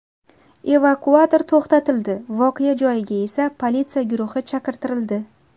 Evakuator to‘xtatildi, voqea joyiga esa politsiya guruhi chaqirtirildi.